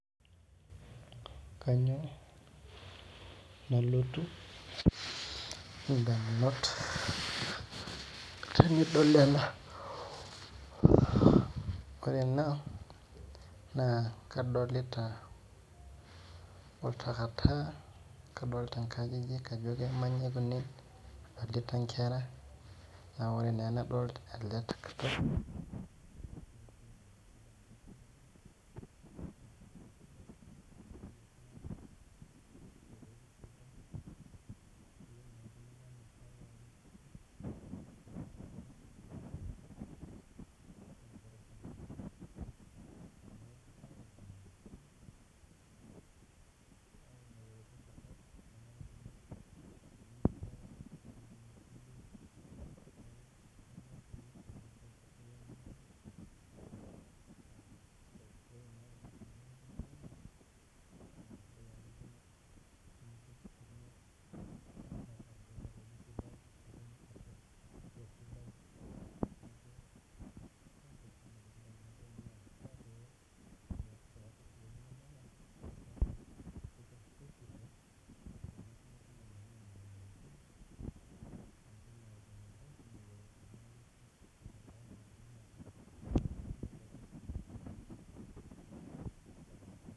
Kanyio nalotu ndamunot tenidol ena ore ena na kadolita oltakitaka adolta nkajijik ajo kemanyae ene adolta nkera na ore naa emadolta ele takataka